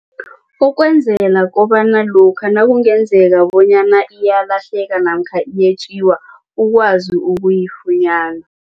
Ukwenzela kobana lokha nakungenzeka bonyana iyalahleka namkha iyetjiwa ukwazi ukuyifunyana.